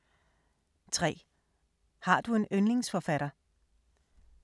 3) Har du en yndlingsforfatter?